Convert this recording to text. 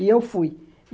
E eu fui.